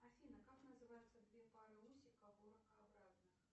афина как называются две пары усиков у ракообразных